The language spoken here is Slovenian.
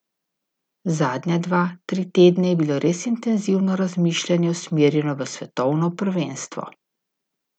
Zadnja dva, tri tedne je bilo res intenzivno razmišljanje usmerjeno v svetovno prvenstvo.